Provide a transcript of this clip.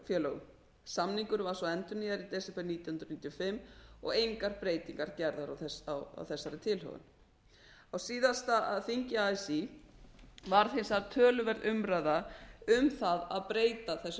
frá verkalýðsfélögum samningurinn var svo endurnýjaður í desember nítján hundruð níutíu og fimm og engar breytingar gerðar á þessari tilhögun á síðasta þingi así varð hins vegar töluverð umræða um það að breyta þessu